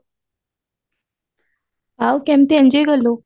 ଆଉ କେମତି enjoy କଲୁ